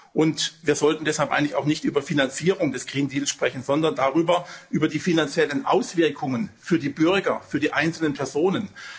Und wir sollten deshalb eigentlich auch nicht über Finanzierung des Green Deals sprechen, sondern über die finanziellen Auswirkungen für die Bürger, für die einzelnen Personen.